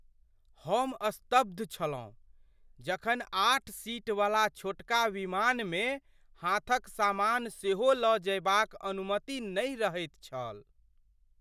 हम स्तब्ध छलहुँ जखन आठ सीट वला छोटका विमानमे हाथक सामान सेहो लऽ जयबाक अनुमति नहि रहैत छल।